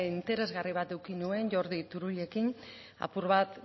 interesgarri bat eduki nuen jordi turullekin apur bat